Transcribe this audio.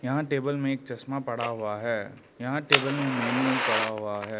Table में एक चश्मा पड़ा हुआ है यहां टेबल में मेनू पड़ा हुआ है।